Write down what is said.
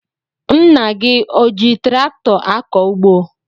Nna gị o ji traktọ akọ ugbo?